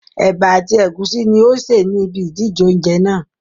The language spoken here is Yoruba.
Ẹ̀bà àti ẹ̀gúsí ní ó ń sè ní ibí ìdíje oúnjẹ náà